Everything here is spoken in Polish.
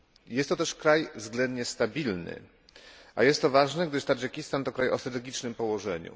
Jest to też kraj względnie stabilny, a jest to ważne, gdyż Tadżykistan to kraj o strategicznym położeniu.